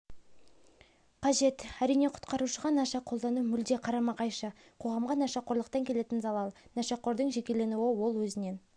қажет әрине құтқарушыға наша қолдану мүлде қарама-қайшы қоғамға нашақорлықтан келетін залал нашақордың жекеленуі ол өзінен